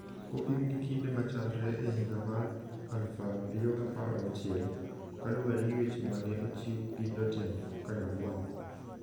kopim gi kinde ma chalre e higa mar 2016, ka luwore gi weche ma ne ochiw gi jotend Kanyagwal.